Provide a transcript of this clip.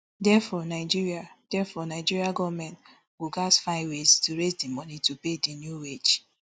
therefore nigeria therefore nigeria goment go gatz find ways to raise di money to pay di new wage